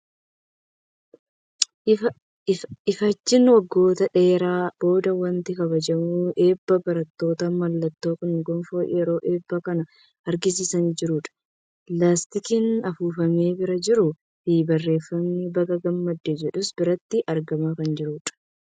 Ifaajjii waggoota dheeraan booda waanti kabajamu eebba barataati. Mallatoon kun gonfoo yeroo eebbaa kan agarsiisaa jiru dha. Laastikiin afuufamee bira jiruu fi barreeffamni baga gammadde jedhus biratti argamaa kan jirudha.